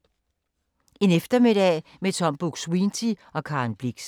En eftermiddag med Tom Buk-Swienty og Karen Blixen